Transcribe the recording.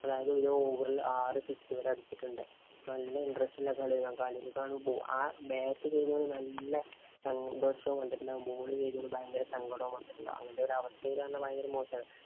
അതായത് ഒരു over ഇല്‍ ആറു six ഇവര് അടിച്ചിട്ടുണ്ട്. നല്ല interest ഉള്ള കളിയാണ് കാണുമ്പോള്‍. ആ bat ചെയ്യുമ്പോള്‍ നല്ല സന്തോഷവും ഉണ്ട്. എന്നാല്‍ ball ചെയ്തതില്‍ ഭയങ്കര സങ്കടവുമുണ്ട്. അങ്ങനത്തെ ഒരവസ്ഥയില്‍ ആകുമ്പോള്‍ ഭയങ്കര മോശാണ്.